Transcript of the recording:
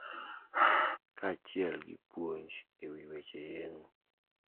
Kaachiel gi puonj e wi weche yeng`o.